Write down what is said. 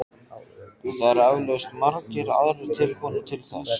En það eru eflaust margir aðrir tilbúnir til þess.